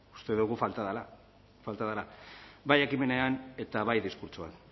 uste dugu falta dela bai ekimenean eta bai diskurtsoan